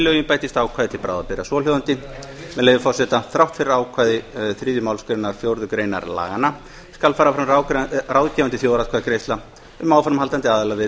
lögin bætist ákvæði til bráðabirgða svohljóðandi með leyfi forseta þrátt fyrir ákvæði þriðju málsgreinar fjórðu greinar laganna skal fara fram ráðgefandi þjóðaratkvæðagreiðsla um áframhaldandi aðildarviðræður við